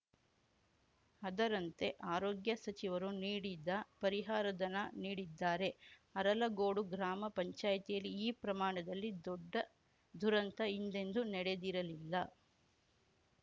ಅದರಂತೆ ಆರೋಗ್ಯ ಸಚಿವರು ನೀಡಿದ ಪರಿಹಾರಧನ ನೀಡಿದ್ದಾರೆ ಅರಲಗೋಡು ಗ್ರಾಮ ಪಂಚಾಯ್ತಿಯಲ್ಲಿ ಈ ಪ್ರಮಾಣದಲ್ಲಿ ದೊಡ್ಡ ದುರಂತ ಹಿಂದೆಂದೂ ನಡೆದಿರಲಿಲ್ಲ